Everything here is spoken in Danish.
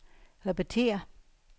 repetér